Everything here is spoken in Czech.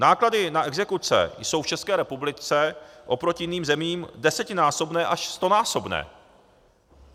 Náklady na exekuce jsou v České republice oproti jiným zemím desetinásobné až stonásobné.